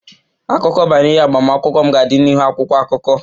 Akụkọ banyere agbamakwụkwọ m ga-adị n'ihu akwụkwọ akụkọ